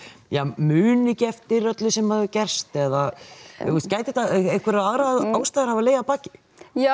muni ekki eftir öllu sem hafi gerst eða gætu aðrar ástæður hafa legið að baki já